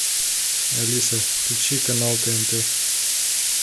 алиса включи канал тнт